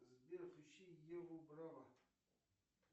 сбер включи еву браво